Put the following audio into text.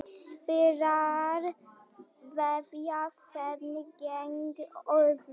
Spilarar veðja hverjir gegn öðrum.